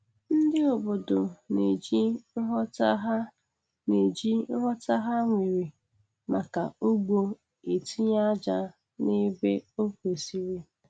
Ndị obodo na-eji nghọta ha na-eji nghọta ha nwere maka ugbo etinye aja n'ebe o kwesiri.